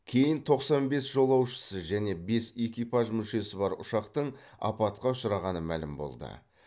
кейін тоқсан бес жолаушысы және бес экипаж мүшесі бар ұшақтың апатқа ұшырағаны мәлім болды